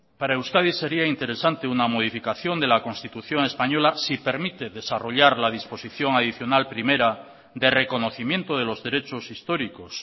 para euskadi sería interesante una modificación de la constitución española si permite desarrollar la disposición adicional primera de reconocimiento de los derechos históricos